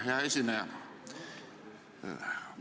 Hea esineja!